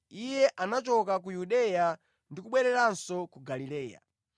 Iye anachoka ku Yudeya ndi kubwereranso ku Galileya.